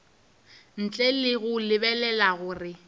ntle le go lebelela gore